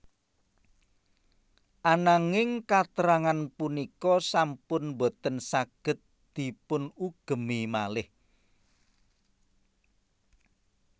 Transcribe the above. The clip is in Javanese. Ananging katrangan punika sampun boten saged dipunugemi malih